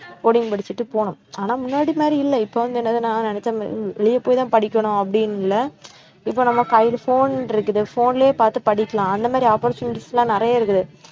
coding படிச்சுட்டு போணும் ஆனா முன்னாடி மாதிரி இல்லை இப்போ வந்து என்னதுனா, நெனச்ச மா~ அஹ் வெளியே போய்தான் படிக்கணும் அப்படின்னு இல்லை இப்போ நமக்கு கைல phone இருக்குது phone லயே பார்த்து படிக்கலாம் அந்த மாதிரி opportunities எல்லாம் நிறைய இருக்குது